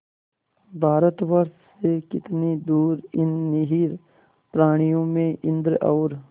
भारतवर्ष से कितनी दूर इन निरीह प्राणियों में इंद्र और